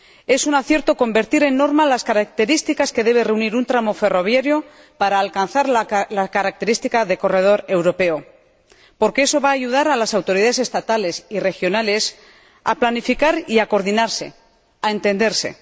Es un acierto convertir en norma las características que debe reunir un tramo ferroviario para alcanzar la característica de corredor europeo, porque eso va a ayudar a las autoridades estatales y regionales a planificar y a coordinarse, a entenderse.